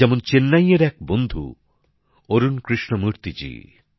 যেমন চেন্নাইয়ের এক বন্ধু অরুণ কৃষ্ণমূর্তি জী